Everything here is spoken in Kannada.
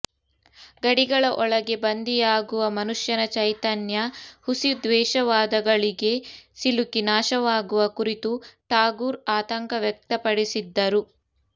ಗಡಿಗಳ ಒಳಗೇ ಬಂದಿಯಾಗುವ ಮನುಷ್ಯನ ಚೈತನ್ಯ ಹುಸಿ ದ್ವೇಷವಾದಗಳಿಗೆ ಸಿಲುಕಿ ನಾಶವಾಗುವ ಕುರಿತು ಟಾಗೂರ್ ಆತಂಕ ವ್ಯಕ್ತಪಡಿಸಿದ್ದರು